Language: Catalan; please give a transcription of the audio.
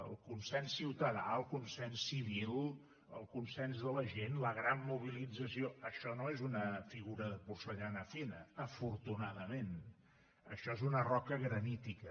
el consens ciutadà el consens civil el consens de la gent la gran mobilització això no és una figura de porcellana fina afortunadament això és una roca granítica